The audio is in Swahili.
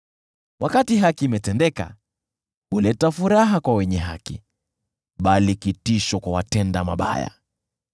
Wakati haki imetendeka, huleta furaha kwa wenye haki, bali kitisho kwa watenda mabaya.